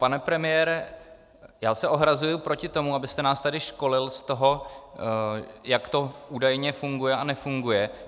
Pane premiére, já se ohrazuji proti tomu, abyste nás tady školil z toho, jak to údajně funguje a nefunguje.